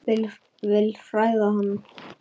Vil hræða hann.